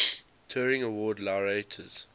turing award laureates